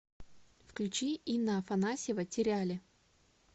включи инна афанасьева теряли